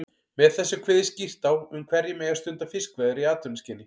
Með þessu er kveðið skýrt á um hverjir megi stunda fiskveiðar í atvinnuskyni.